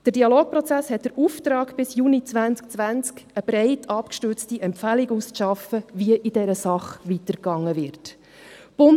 Der Dialogprozess hat den Auftrag, bis Juni 2020 eine breit abgestützte Empfehlung auszuarbeiten, wie in dieser Sache weiter vorgegangen werden soll.